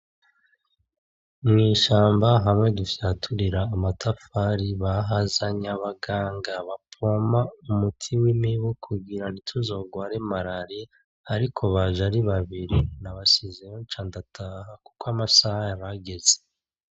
Mw'ishamba hamwe dufyaturira amatafari, bahazanye abaganga ba pompa umuti w'imibu kugira ntituzogware malariya, ariko baje ari babiri nabasizeyo nca ndataha kuko amasaha yari ageze.